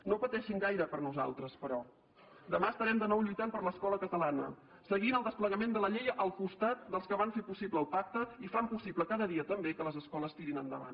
no pateixin gaire per nosaltres però demà estarem de nou lluitant per l’escola catalana seguint el desplegament de la llei al costat dels que van fer possible el pacte i fan possible cada dia també que les escoles tirin endavant